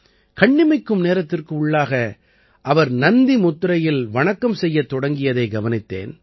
கண்ணிமைக்கும் நேரத்திற்கு உள்ளாக அவர் நந்தி முத்திரையில் வணக்கம் செய்யத் தொடங்கியதை கவனித்தேன்